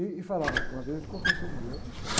Ih, e falava uma vez, ele confessou comigo, ele era machão, né?